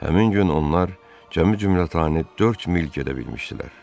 Həmin gün onlar cəmi cümlətani dörd mil gedə bilmişdilər.